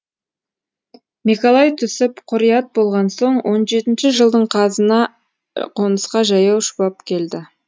мекалай түсіп құрият болған соң он жетінші жылдың жазына қонысқа жаяу шұбап келдік